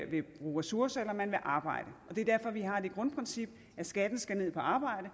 vil bruge ressourcer eller om man vil arbejde det er derfor vi har det grundprincip at skatten skatten på arbejde